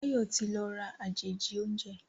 Bayo ti ló rà àjèjì oúnjẹ